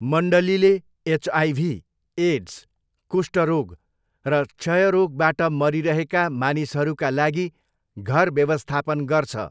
मण्डलीले HIV, AIDS, कुष्ठरोग र क्षयरोगबाट मरिरहेका मानिसहरूका लागि घर व्यवस्थापन गर्छ।